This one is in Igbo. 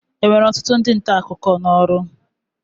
Enwere ọtụtụ ndị nta akụkọ n'ọrụ?